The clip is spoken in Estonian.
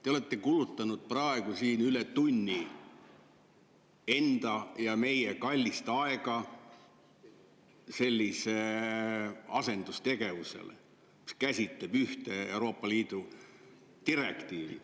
Te olete siin kulutanud praegu üle tunni omaenda ja meie kallist aega sellisele asendustegevusele, mis käsitleb Euroopa Liidu ühte direktiivi.